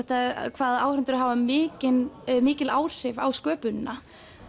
hvað áhorfendur hafa mikil mikil áhrif á sköpunina